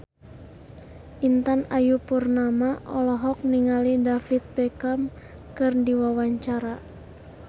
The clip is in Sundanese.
Intan Ayu Purnama olohok ningali David Beckham keur diwawancara